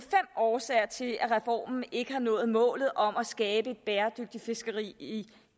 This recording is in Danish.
årsager til at reformen ikke har nået målet om at skabe et bæredygtigt fiskeri i